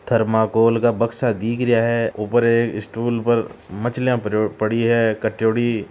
थर्माकोल का बक्सा दिख रिया है ऊपर एक स्टूल पर मछलिया पड़ी है काट्योडी।